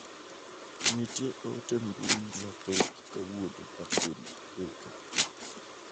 Nitie ote mbui mathoth kawuono ma gin meka.